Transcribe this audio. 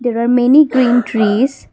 there are many green trees.